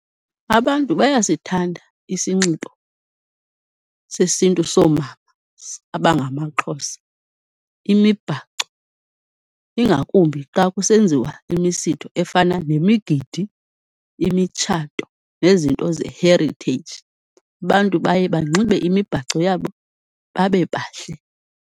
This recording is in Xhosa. Abantu bayasithanda isinxibo sesintu soomama abangamaXhosa, imibhaco ingakumbi xa kusenziwa imisitho efana nemigidi, imitshato nezinto ze-heritage. Abantu baye banxibe imibhaco yabo babebahle.